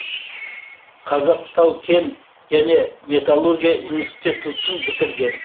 қазақ тау кен және металлургия институтын бітірген